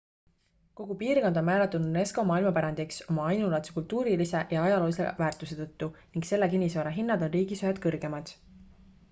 kogu piirkond on määratud unesco maailmapärandiks oma ainulaadse kultuurilise ja ajaloolise väärtuse tõttu ning selle kinnisvara hinnad on riigis ühed kõrgemad